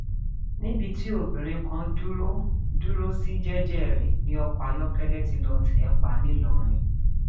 níbi tí obìnrin kan dúró dúró sí jẹẹjẹ rẹ ní ọkọ ayọkẹlẹ tí lóò tẹ ẹ pa ńlọrọrìn